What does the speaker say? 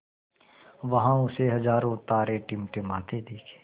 वहाँ उसे हज़ारों तारे टिमटिमाते दिखे